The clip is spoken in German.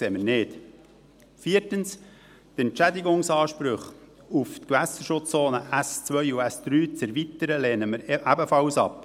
Viertens: Die Entschädigungsansprüche auf die Gewässerschutzzonen S2 und S3 zu erweitern, lehnen wir ebenfalls ab.